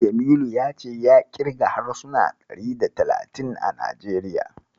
Jamilu ya ce ya ƙirga harsuna ɗari da talatin a Najeriya.